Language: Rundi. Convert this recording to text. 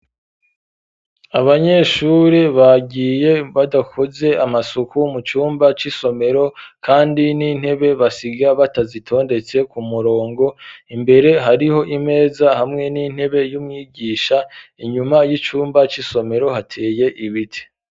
Abanyeshuri bagiye badakoze amasuku mu cumba c'isomero kandi n'intebe basiga batazitondetse ku murongo, imbere hariho imeza hamwe n'intebe y'umwigisha ,inyuma y'icumba c'isomero hateye ibiti.